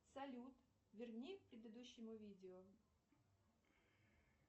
салют верни к предыдущему видео